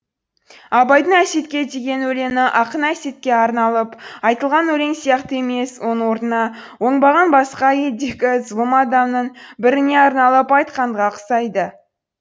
абайдың әсетке деген өлеңі ақын әсетке арналып айтылған өлең сияқты емес оның орнына оңбаған басқа елдегі зұлым адамның біріне арналып айтқанға ұқсайды